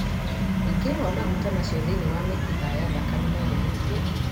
Wĩingĩ wa maguta macio thĩinĩ wa mĩkiha ya thakame no gũthũkie